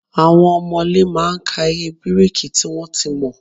Àwon òmòlé má a n ka iye bíríkì tí wón to mo